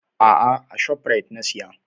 A'a, a Shoprite na siya.